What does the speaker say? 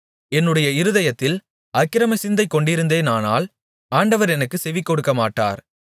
என்னுடைய இருதயத்தில் அக்கிரமசிந்தை கொண்டிருந்தேனானால் ஆண்டவர் எனக்குச் செவிகொடுக்கமாட்டார்